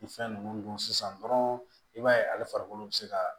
Ni fɛn ninnu dun sisan dɔrɔn i b'a ye ale farikolo bɛ se ka